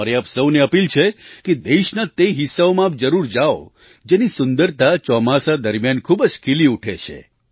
મારી આપ સહુને અપીલ છે કે દેશના તે હિસ્સાઓમાં આપ જરૂર જાવ જેની સુંદરતા ચોમાસા દરમિયાન ખૂબ જ ખીલી ઊઠે છે